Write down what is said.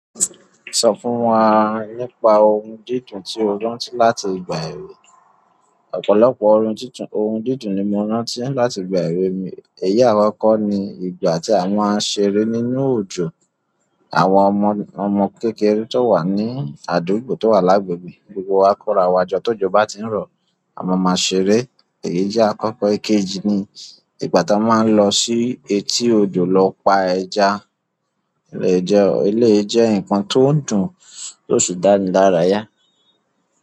Sọ fún wa nípa ohun dídùn tí o rántí láti ìgbà èwe. Ọ̀pọ̀lọpọ̀ ohun dídùn ni mo rántí láti ìgbà èwe mi. Ẹ̀yi àkọ́kọ́ ni ìgbà tí à ma n ṣeré nínú òjò. Àwọn ọmọ kékeré tó wà ní àdúgbò tó wà lágbègbè gbogbo wa kóra wá jọ tó jọ bá ti ń rọ̀ a máa máa ṣeré. Ẹ̀yi àkọ́kọ́ èkejì ni ìgbà tí a máa ń lọ sí etí odò lọ pa ẹja. Eleyii jẹ nǹkan tó ń dùn tó sì dáni lára yá.